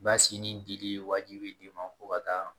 Basini dili wajibi fo ka taa